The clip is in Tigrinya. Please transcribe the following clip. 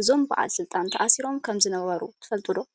እዞም በዓል ስልጣን ተኣሲሮም ከምዝነበሩ ትፈልጡ ዶ?